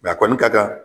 a kɔni ka kan